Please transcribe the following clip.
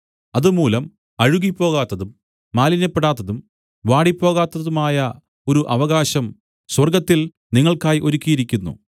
അതുമൂലം അഴുകിപ്പോകാത്തതും മാലിന്യപ്പെടാത്തതും വാടിപ്പോകാത്തതുമായ ഒരു അവകാശം സ്വർഗ്ഗത്തിൽ നിങ്ങൾക്കായി ഒരുക്കിയിരിക്കുന്നു